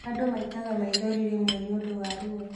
Andū maitaga maithori rĩmwe nĩũndũ wa ruo